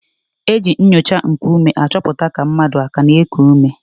E ji nnyocha nkuume achọpụta ka mmadụ aka na-eku ume.